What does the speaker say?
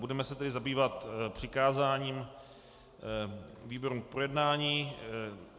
Budeme se tedy zabývat přikázáním výborům k projednání.